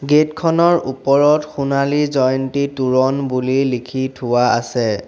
Gate খনৰ ওপৰত সোণালী জয়ন্তী তোৰণ বুলি লিখি থোৱা আছে।